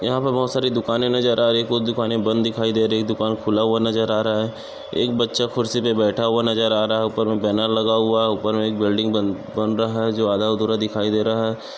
यहा पे बहुत सारे दुकाने नज़र आ रही बहुत दुकाने बंद दिखाई दे रही दुकान खुला हुआ नज़र आ रहा है एक बच्चा खुर्चीपे बैठा हुआ नज़र आ रहा है उपर मे बैनर लगा हुआ है उपर मे एक बिल्डिंग बन बन रहा है जो आधा अधूरा दिखाई दे रहा है।